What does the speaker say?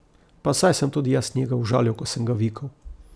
Pa saj sem tudi jaz njega užalil, ko sem ga vikal.